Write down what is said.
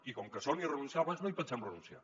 i com que són irrenunciables no hi pensem renunciar